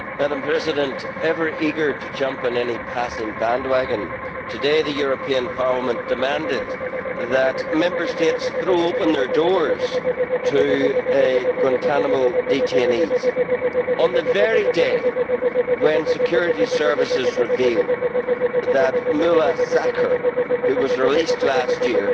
Madam President, ever eager to jump on any passing bandwagon, today the European Parliament demanded that Member States throw open their doors to Guantánamo detainees, on the very day when security services reveal that Mullah Sakir, who was released last year,